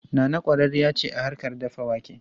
Nana kwararriya ce a harkar dafa wake.